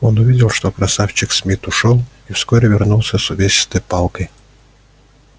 он увидел что красавчик смит ушёл и вскоре вернулся с увесистой палкой